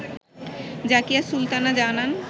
জাকিয়া সুলতানা জানান